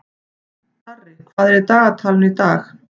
Darri, hvað er í dagatalinu í dag?